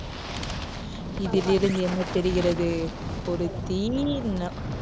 இதிலிருந்து என்ன தெரிகிறது? ஒரு தீயின் அஹ்